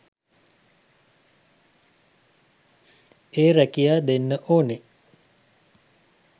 ඒ රැකියා දෙන්න ඕනේ